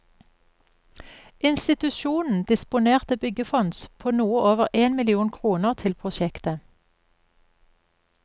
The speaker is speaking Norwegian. Institusjonen disponerte byggefonds på noe over en million kroner til prosjektet.